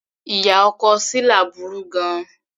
Ìyá ọkọ Shila burú gan-an.